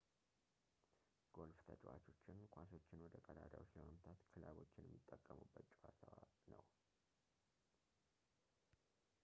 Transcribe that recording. ጎልፍ ተጫዋቾችን ኳሶችን ወደ ቀዳዳዎች ለመምታት ክለቦችን የሚጠቀሙበት ጨዋታ ነው